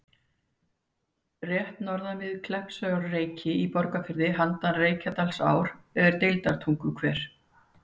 Rétt norðan við Kleppjárnsreyki í Borgarfirði, handan Reykjadalsár, er Deildartunguhver.